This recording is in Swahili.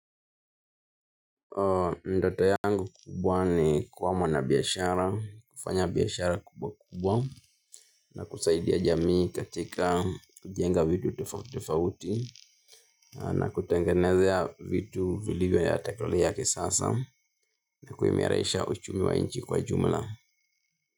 Ndoto yangu kubwa ni kuwa mwanabiashara, kufanya biashara kubwa kubwa na kusaidia jamii katika kujenga vitu tofauti tofauti na kutengenezea vitu vilivyo vya teknolojia yakisasa na kuimarisha uchumi wa inchi kwa jumla.